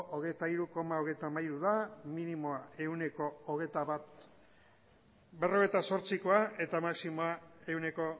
hogeita hiru koma hogeita hamaika da minimoa ehuneko hogeita bat koma berrogeita zortzikoa eta maximoa ehuneko